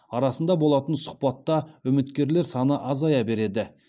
арасында болатын сұхбатта үміткерлер саны азая береді